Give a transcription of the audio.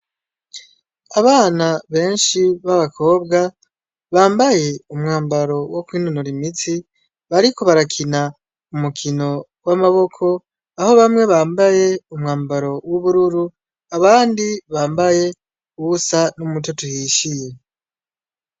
Abana benshi b' abakobwa bambaye umwambaro wo kwinonora imitsi bariko barakina umukino w' amaboko aho bamwe bambaye umwambaro w' ubururu abandi bambaye uwusa n' umutoto uhishiye.